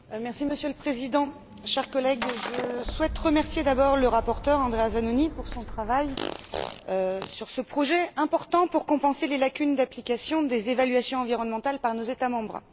Monsieur le Président, chers collègues, je souhaite remercier d'abord le rapporteur, Andrea Zanoni, pour son travail sur ce projet important pour compenser les lacunes d'application des évaluations environnementales par nos États membres.